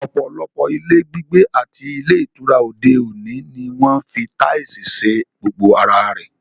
Ọ̀pọ̀lọpọ̀ ilé gbígbé àti ilé ìtura òde òní ni wọ́n ń fi táìsì ṣe gbogbo ara rẹ̀